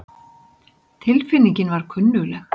Tilfinningin var kunnugleg.